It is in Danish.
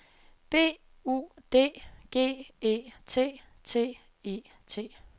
B U D G E T T E T